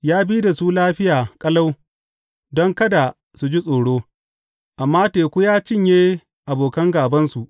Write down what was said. Ya bi da su lafiya ƙalau, don kada su ji tsoro; amma teku ya cinye abokan gābansu.